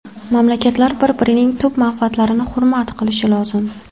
Mamlakatlar bir-birining tub manfaatlarini hurmat qilishi lozim.